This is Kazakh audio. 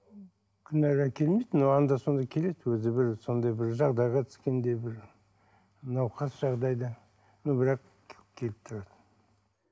күнара келмейді но анда санда келеді өзі бір сондай бір жағдайға түскенде бір науқас жағдайда но бірақ келіп тұрады